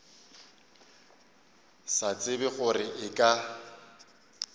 sa tsebe gore e ka